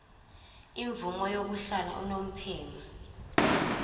imvume yokuhlala unomphema